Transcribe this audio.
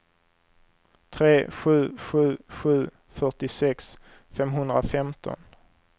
tre sju sju sju fyrtiosex femhundrafemton